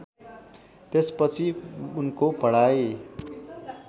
त्यसपछि उनको पढाइ